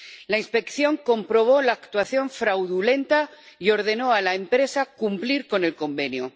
La inspección comprobó la actuación fraudulenta y ordenó a la empresa cumplir con el convenio.